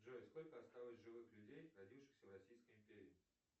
джой сколько осталось живых людей родившихся в российской империи